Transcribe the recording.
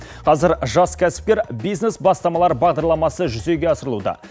қазір жас кәсіпкер бизнес бастамалары бағдарламасы жүзеге асырылуда